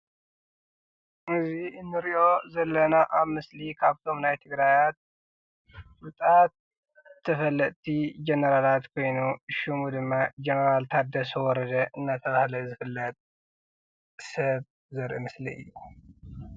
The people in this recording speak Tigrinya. እዚ ንሪኦ ዘለና ኣብ ምስሊ ካብቶም ናይ ትግራይ ፍሉጣት ተፈለጥቲ ጀነራላት ኮይኑ ሽሙ ድማ ጀነራል ታደሰ ወረደ እናተባህለ ዝፍለጥ ሰብ ዘርኢ ምስሊ እዩ፡፡